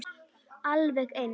Alveg eins.